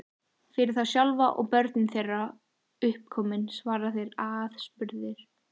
Fyrir þá sjálfa, og börnin þeirra uppkomin, svara þeir aðspurðir.